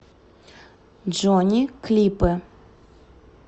джони клипы